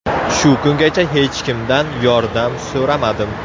Shu kungacha hech kimdan yordam so‘ramadim.